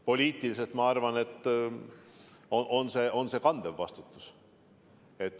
Poliitiliselt on see, ma arvan, kandev vastutus.